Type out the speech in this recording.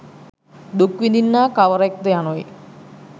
දුක් විඳින්නා කවරෙක් ද යනුයි